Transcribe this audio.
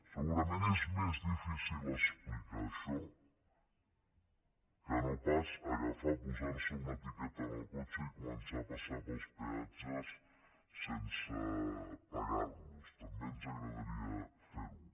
segurament és més difícil explicar això que no pas agafar posar se una etiqueta al cotxe i començar a passar pels peatges sense pagar los també ens agradaria fer ho